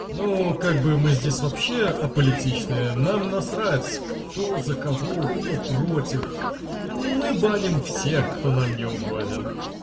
ну как бы мы здесь вообще аполитичные нам насрать кто за кого кто против мы баним всех кто нам неугоден